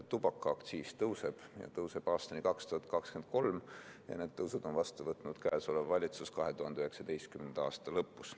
Tubakaaktsiis tõuseb, see tõuseb aastani 2023 ja need tõusud võttis vastu käesolev valitsus 2019. aasta lõpus.